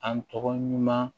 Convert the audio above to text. An tɔgɔ ɲuman